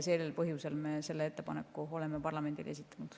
Sel põhjusel me olemegi selle ettepaneku parlamendile esitanud.